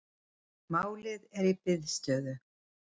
Málið er í biðstöðu